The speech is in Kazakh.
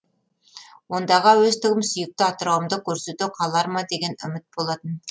ондағы әуестігім сүйікті атырауымды көрсете қалар ма деген үміт болатын